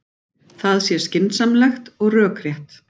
Það sé skynsamlegt og rökrétt